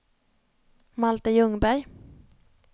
Malte Ljungberg